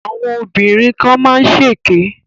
Àwọn obìnrin kan má ń ṣèké